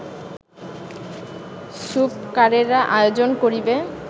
সূপকারেরা আয়োজন করিবে